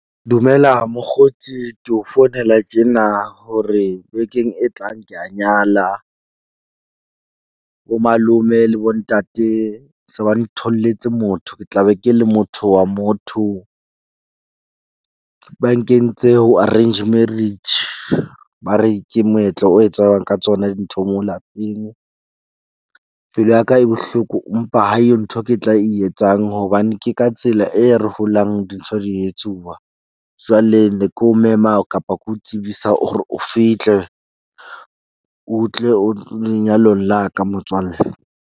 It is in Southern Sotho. Dumela mokgotsi ke o founela tjena hore bekeng e tlang ke ya nyala. Bo malome le bo ntate se ba ntholletse motho. Ke tla be ke le motho wa motho ba nkentse ho arranged marriage. Ba re ke moetlo o etsuwang ka tsona dintho moo lapeng. Pelo ya ka e bohloko mpa ha eyo ntho ke tla e etsang hobane ke ka tsela e re holang dintho di etsuwa. Jwale ne ke o mema kapa ke o tsebisa hore o fihle o tle o lenyalong la ka motswalle.